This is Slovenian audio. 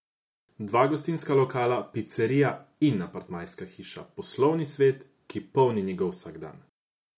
Dva gostinska lokala, picerija in apartmajska hiša, poslovni svet, ki polni njegov vsakdan.